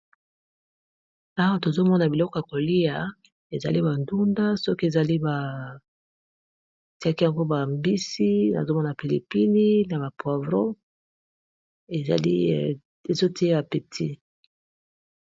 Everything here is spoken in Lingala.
Awa tozalikomona biloko ya koliya ezali ba ndunda batiye ba mbisi nazomona pilipili, poivrons epesi posa ya koliya.